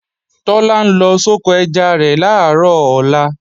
Tọ́lá ń lọ soko ẹja rẹ̀ làárọ̀ ọ̀la